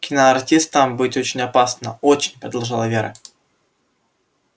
киноартистом быть очень опасно очень продолжала вера